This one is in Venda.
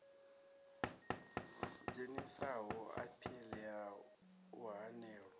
dzhenisaho aphili ya u hanelwa